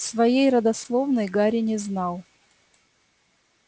своей родословной гарри не знал